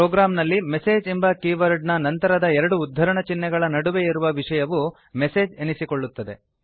ಪ್ರೋಗ್ರಾಂನಲ್ಲಿ ಮೆಸೇಜ್ ಎಂಬ ಕೀವರ್ಡ್ ನ ನಂತರದ ಎರಡು ಉದ್ಧರಣ ಚಿಹ್ನೆಗಳ ನಡುವೆ ಇರುವ ವಿಷಯವು ಮೆಸೆಜ್ ಎನಿಸಿಕೊಳ್ಳುತ್ತದೆ